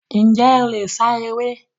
Njẹ o le sá eré?